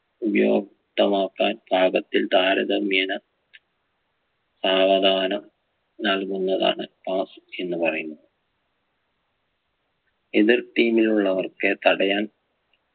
ഉപയോക്തമാക്കാൻ പാകത്തിൽ താരതമ്യേന സാവധാനം നൽകുന്നതാണ് toss എന്ന് പറയുന്നു എതിർ team ലുള്ളവർക്കേ തടയാൻ